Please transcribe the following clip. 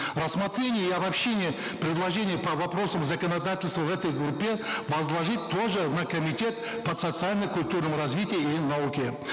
рассмотрение и обобщение предложений по вопросам законодательства в этой группе возложить тоже на комитет по социально культурному развитию и науке